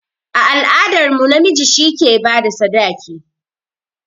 A al'adar mu, namiji shi yake bada sadaki